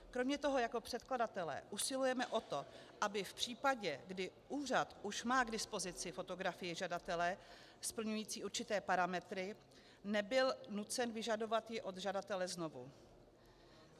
Kromě toho jako předkladatelé usilujeme o to, aby v případě, kdy úřad už má k dispozici fotografii žadatele splňující určité parametry, nebyl nucen vyžadovat ji od žadatele znovu.